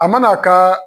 A mana kaaa